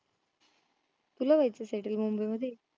तुला व्हायचंय settle मुंबई मधी